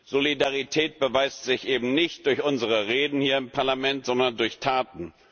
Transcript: Solidarität beweist sich eben nicht durch unsere Reden hier im Parlament, sondern durch Taten.